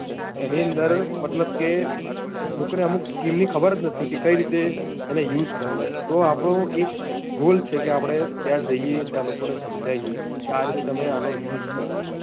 એની અંદર મતલબ કે લોકો ને અમુક scheme ની ખબર જ નથી કે કઈ રીતે એને use કરવો, તો આપણું એ ભૂલ છે કે આપણે ત્યાં જઈએ, ત્યાં લોકો ને સમજાવીએ કે આ રીતે તમે આનો use કરો.